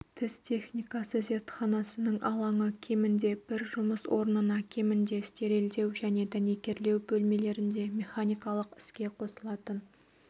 тіс техникасы зертханасының алаңы кемінде бір жұмыс орнына кемінде стерилдеу және дәнекерлеу бөлмелерінде механикалық іске қосылатын